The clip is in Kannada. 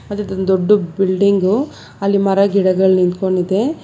ಅದು ದೊಂದ್ ದೊಡ್ದು ಬಿಲ್ಡಿಂಗ್ ಗು ಅಲ್ಲಿ ಮರಗಿಡಗಳು ನಿಂತ್ಕೊಂಡಿದೆ.